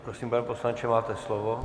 Prosím, pane poslanče, máte slovo.